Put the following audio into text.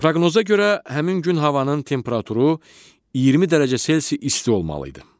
Proqnoza görə həmin gün havanın temperaturu 20 dərəcə isti olmalı idi.